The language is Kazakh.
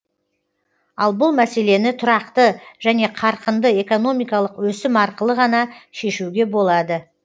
ал бұл мәселені тұрақты және қарқынды экономикалық өсім арқылы ғана шешуге болады